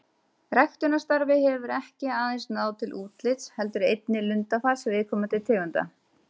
Ræktunarstarfið hefur ekki aðeins náð til útlits heldur einnig lundafars viðkomandi tegunda.